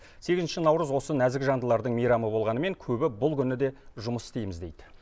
сегізінші наурыз осы нәзік жандылардың мейрамы болғанымен көбі бұл күні де жұмыс істейміз дейді